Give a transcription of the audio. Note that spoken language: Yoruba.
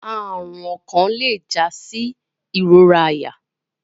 Arun okan le ja si irora aya